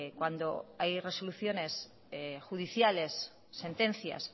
cuando hay resoluciones judiciales sentencias